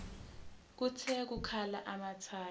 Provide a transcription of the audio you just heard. kuthe kukhala amathayi